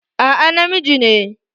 A'a, na miji ne